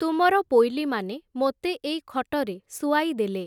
ତୁମର ପୋଇଲୀମାନେ ମୋତେ ଏଇ ଖଟରେ ଶୁଆଇଦେଲେ ।